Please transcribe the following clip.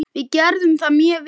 Við gerðum það mjög vel.